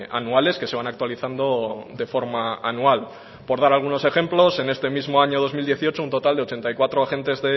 anuales que se van actualizando de forma anual por dar algunos ejemplos en este mismo año dos mil dieciocho un total de ochenta y cuatro agentes